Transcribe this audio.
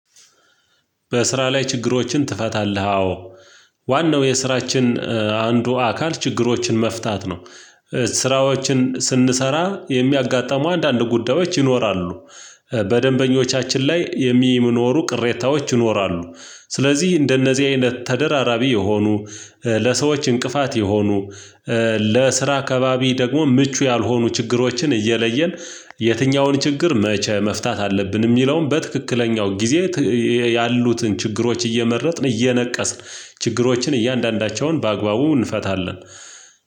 በስራ ላይ ችግሮችን ትፈታለህ? አዎ ዋናው የስራችን አንዱ አካል ችግሮችን መፍታት ነው። ስራዎችን ስንሰራ የሚያጋጥሙ አንዳንድ ጉዳዮች ይኖራሉ። በደንበኞቻችን ላይ የሚኖሩ ቅሬታዎች ይኖራሉ። ስለዚህ እንደነዚህ አይነት ተደራራቢ የሆኑ ለሰዎች እንቅፋት የሆኑ ለስራ ከባቢ ደግሞ ምቹ ያልሆኑ ችግሮችን እየለየን የትኛውን ችግር መቼ መፍታት አለብን የሚለውን በትክክለኛው ጊዜ። ያሉትን ችግሮች እየመረጥን እየነቀስን ችግሮችን እያንዳንዳቸውን በአግባቡ እንፈታለን።